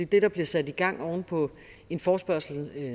det der bliver sat i gang oven på en forespørgsel